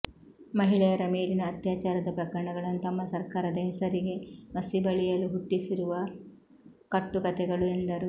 ಮಹಿಳೆಯರ ಮೇಲಿನ ಅತ್ಯಾಚಾರದ ಪ್ರಕರಣಗಳನ್ನು ತಮ್ಮ ಸರ್ಕಾರದ ಹೆಸರಿಗೆ ಮಸಿ ಬಳಿಯಲು ಹುಟ್ಟಿಸಿರುವ ಕಟ್ಟು ಕಥೆಗಳು ಎಂದರು